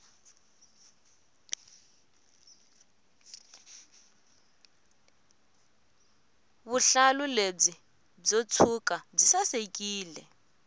vuhlalu lebyi byo ntsuka byi sasekile